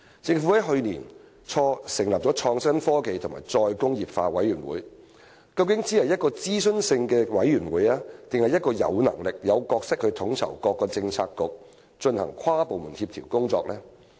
政府於去年初成立的創新、科技及再工業化委員會，究竟只是一個諮詢性質的委員會，還是一個有能力、有角色去統籌各個政策局進行跨部門協調工作的委員會？